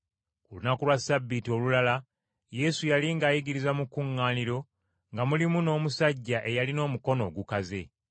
Ku lunaku lwa Ssabbiiti olulala Yesu yali ng’ayigiriza mu kkuŋŋaaniro nga mulimu n’omusajja eyalina omukono ogukaze.